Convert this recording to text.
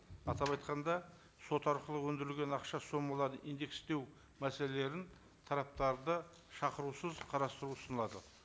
атап айтқанда сот арқылы өндірілген ақша сомаларды индекстеу мәселелерін тараптарды шақырусыз қарастыру ұсынылады